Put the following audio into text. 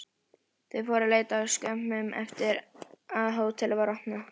Þeir fóru að leita skömmu eftir að hótelið var opnað.